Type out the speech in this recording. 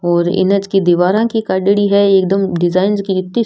और इंच की दीवारा की काढ़ेडी है एकदम डिजाइन जकी इति --